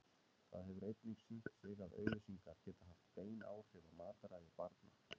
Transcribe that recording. Það hefur einnig sýnt sig að auglýsingar geta haft bein áhrif á mataræði barna.